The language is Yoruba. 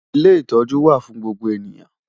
Ilé ìtọ́jú wà fún gbogbo ènìyàn.